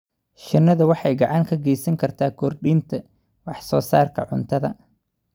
Shinnidu waxay gacan ka geysan kartaa kordhinta wax soo saarka cuntada.